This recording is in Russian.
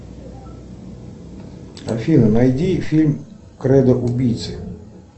афина найди фильм кредо убийцы